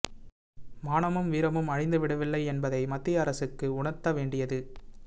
மானமும் வீரமும் அழிந்து விடவில்லை என்பதை மத்திய அரசுக்கு உணர்த்த வேண்டியது